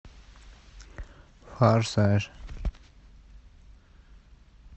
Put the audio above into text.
форсаж